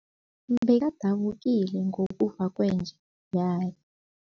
Bekadabukile ngokufa kwenja yakhe.